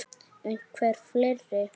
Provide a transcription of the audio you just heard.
Einhver fleiri?